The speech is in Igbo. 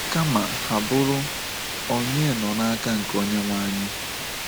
Kama, ha bụrụ Ònye Nọ Naka Nke Onyenweanyị?